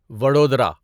Vadodara